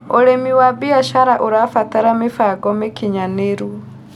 Ũrĩmĩ wa bĩashara ũrabatara mĩbango mĩkĩnyanĩrũ